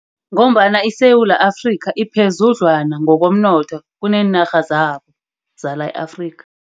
Ngombana iSewula Afrika iphezudlwana ngokomnotho kunenarha zabo, zala e-Afrika.